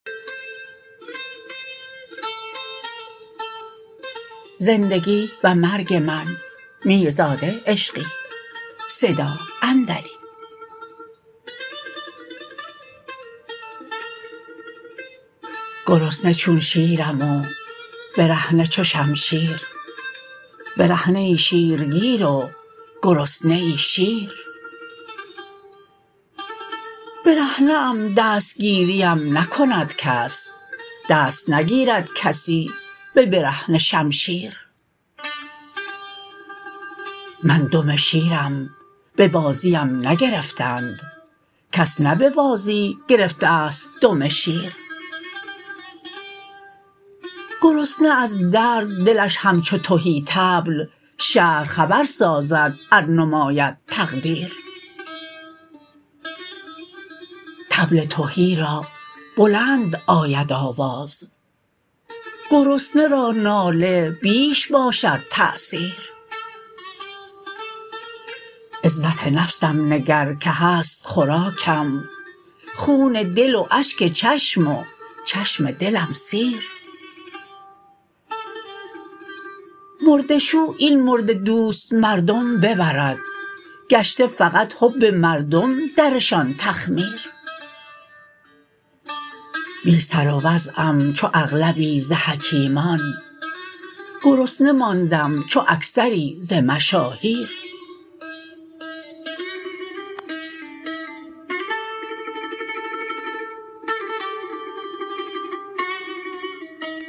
گرسنه چون شیرم و برهنه چو شمشیر برهنه ای شیر گیر و گرسنه ای شیر برهنه ام دستگیری ام نکند کس دست نگیرد کسی به برهنه شمشیر من دم شیرم به بازی ام نگرفتند کس نه به بازی گرفته است دم شیر گرسنه از درد دلش همچو تهی طبل شهر خبر سازد ار نماید تقدیر طبل تهی را بلند آید آواز گرسنه را ناله بیش باشد تأثیر عزت نفسم نگر که هست خوراکم خون دل و اشک چشم و چشم دلم سیر مرده شو این مرده دوست مردم ببرد گشته فقط حب مرده درشان تخمیر بی سر و وضعم چو اغلبی ز حکیمان گرسنه ماندم چو اکثری ز مشاهیر